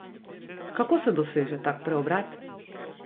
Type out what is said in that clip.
Kako se doseže tak preobrat?